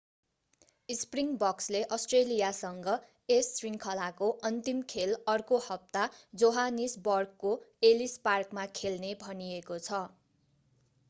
स्प्रिङबक्सले अष्ट्रेलियासँग यस श्रृङ्खलाको अन्तिम खेल अर्को हप्ता जोहानिसबर्गको एलिस पार्कमा खेल्ने भनिएको छ